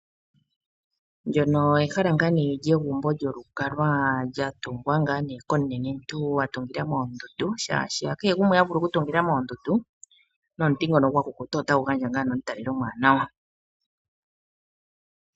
Ndyono ehala lyegumbo lyolukalwa lya tungwa komunenentu a tungila moondundu, shaashi hakehe gumwe ha vulu okutungila moondundu, nomuti ngono otagu gandja omutalelo omuwanawa.